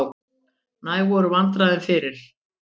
Næg voru vandræðin fyrir.